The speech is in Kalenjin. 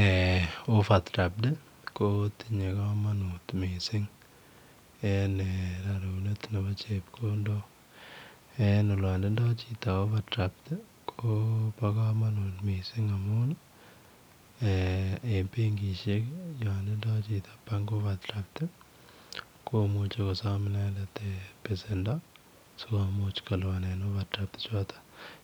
Eeh [overdraft] ii ko tinyei kamanut missing raruneet nebo chepkondok yaan tindo chitoo [overdraft] koba kamanut eeh benkisheek ii yaan tindoi inendet [bank overdraft] komuchei besendo sikomuuch kolupaanen [overdraft] ichotoon